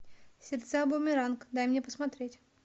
сердца бумеранг дай мне посмотреть